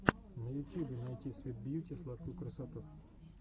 на ютьюбе найти свит бьюти сладкую красоту